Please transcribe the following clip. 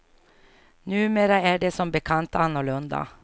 Numera är det som bekant annorlunda.